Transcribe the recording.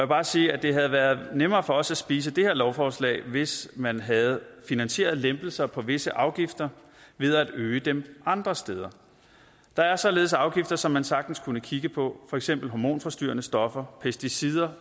bare sige at det havde været nemmere for os at spise det her lovforslag hvis man havde finansieret lempelser på visse afgifter ved at øge dem andre steder der er således afgifter som man sagtens kunne kigge på for eksempel på hormonforstyrrende stoffer pesticider